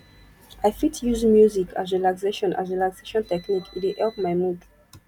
i fit use music as relaxation as relaxation technique e dey help my mood